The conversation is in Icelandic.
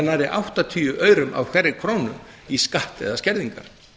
nærri áttatíu aurum af hverri krónu í skatt eða skerðingar